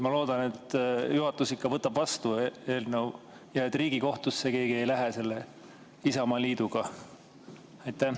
Ma loodan, et juhatus ikka võtab eelnõu vastu ja et Riigikohtusse keegi ei lähe selle Isamaaliidu pärast.